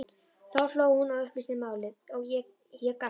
Þá hló hún og upplýsti málið, ég gapti.